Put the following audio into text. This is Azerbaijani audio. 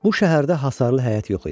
Bu şəhərdə hasarlı həyət yox idi.